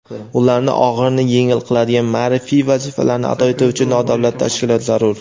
ularning og‘irini yengil qiladigan ma’rifiy vazifalarni ado etuvchi nodavlat tashkilot zarur.